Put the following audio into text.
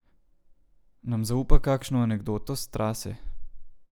Nam zaupa kakšno anekdoto s trase?